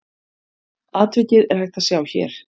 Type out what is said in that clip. Atvikið er hægt að sjá hér.